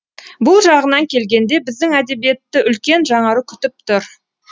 бұл жағынан келгенде біздің әдебиетті үлкен жаңару күтіп тұр